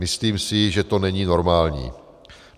Myslím si, že to není normální.